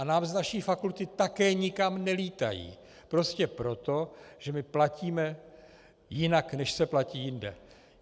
A nám z naší fakulty také nikam nelítají, prostě proto, že my platíme jinak, než se platí jinde.